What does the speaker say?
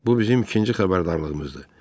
Bu bizim ikinci xəbərdarlığımızdır.